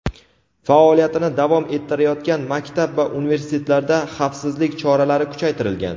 faoliyatini davom ettirayotgan maktab va universitetlarda xavfsizlik choralari kuchaytirilgan.